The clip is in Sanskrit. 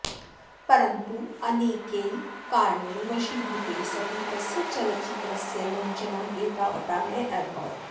परन्तु अनेकैः कारणैः वशीभूते सति तस्य चलच्चित्रस्य मञ्चनम् एतावता नाभवत्